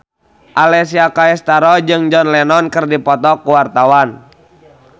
Alessia Cestaro jeung John Lennon keur dipoto ku wartawan